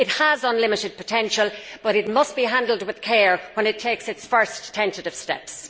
It has unlimited potential but it must be handled with care when it takes its first tentative steps.